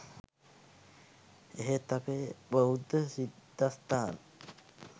එහෙත් අපේ බෞද්ධ සිද්ධස්ථාන